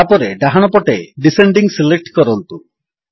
ତାପରେ ଡାହାଣପଟେ descending select କରନ୍ତୁ